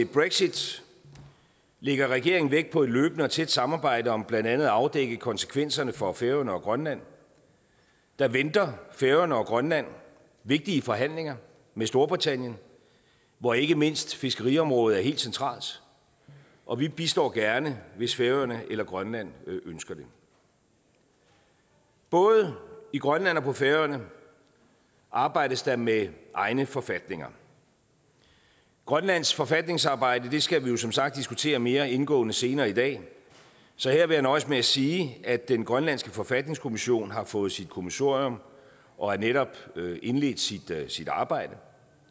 brexit lægger regeringen vægt på et løbende og tæt samarbejde om blandt andet at afdække konsekvenserne for færøerne og grønland der venter færøerne og grønland vigtige forhandlinger med storbritannien hvor ikke mindst fiskeriområdet er helt centralt og vi bistår gerne hvis færøerne eller grønland ønsker det både i grønland og på færøerne arbejdes der med egne forfatninger grønlands forfatningsarbejde skal vi jo som sagt diskutere mere indgående senere i dag så her vil jeg nøjes med at sige at den grønlandske forfatningskommission har fået sit kommissorium og netop har indledt sit arbejde